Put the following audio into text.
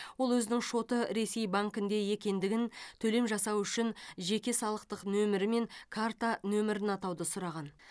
ол өзінің шоты ресей банкінде екендігін төлем жасау үшін жеке салықтық нөмірі мен карта нөмірін атауды сұраған